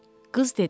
Qız dedi.